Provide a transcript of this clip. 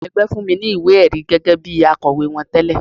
Ẹgbẹ́ fún mi ní ìwé-ẹ̀rí gẹ́gẹ́ bí akọ̀wé wọn tẹle.